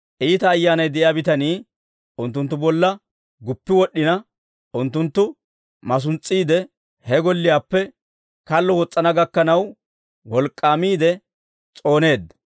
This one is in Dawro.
Iita ayyaanay de'iyaa bitanii unttunttu bolla guppi wod'd'ina, unttunttu masuns's'iide, he golliyaappe kallo wos's'ana gakkanaw, wolk'k'aamiide s'ooneedda.